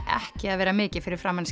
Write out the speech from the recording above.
ekki að vera mikið fyrir framan